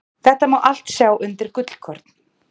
Þetta má allt sjá undir Gullkorn.